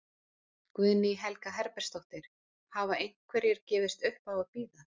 Guðný Helga Herbertsdóttir: Hafa einhverjir gefist upp á að bíða?